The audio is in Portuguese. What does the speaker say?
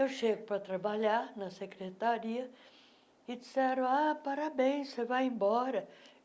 Eu chego para trabalhar na secretaria e disseram, ah, parabéns, você vai embora.